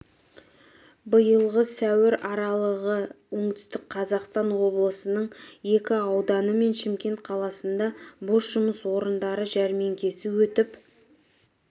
биылғы сәуір аралығы оңтүстік қазақстан облысының екі ауданы мен шымкент қаласында бос жұмыс орындары жәрмеңкесі өтіп